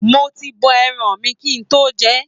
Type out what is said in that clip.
Mo ti bọ̀ ẹran mi kí n tó jẹ ẹ́.